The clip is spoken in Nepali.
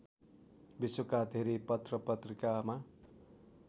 विश्वका धेरै पत्रपत्रिकामा